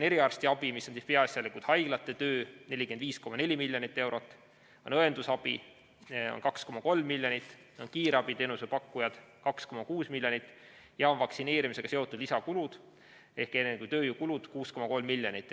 Eriarstiabile, see on peaasjalikult haiglate töö, on 45,4 miljonit eurot, õendusabile on 2,3 miljonit, kiirabiteenuse pakkujatele 2,6 miljonit ja siis on vaktsineerimisega seotud lisakulud, eelkõige tööjõukulud 6,3 miljonit.